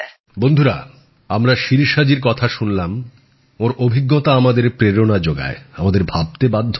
বন্ধুরা আমরা শিরিষা জির কথা শুনলাম ওঁর অভিজ্ঞতা আমাদের প্রেরণা জোগায় আমাদের ভাবতে বাধ্য করে